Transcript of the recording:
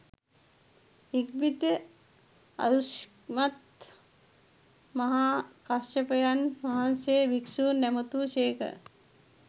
ඉක්බිති ආයුෂ්මත් මහාකස්සපයන් වහන්සේ භික්ෂූන් ඇමතූ සේක